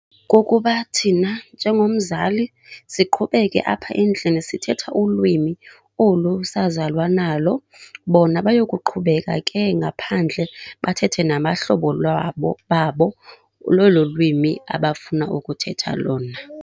Kukuba thina njengomzali siqhubeke apha endlini sithetha ulwimi olu sazalwa nalo. Bona bayokuqhubeka ke ngaphandle bathethe nabahlobo lwabo babo lolo lwimi abafuna ukuthetha lona.